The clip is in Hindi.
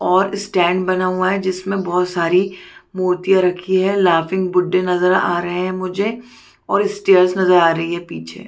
और स्टैंड बना हुआ हैं जिसमे बहुत सारी मूर्तियाँ रखी है लाफिंग बुद्धा नजर आ रहै है मुझे और स्टैर्स नजर आ रही है पीछे --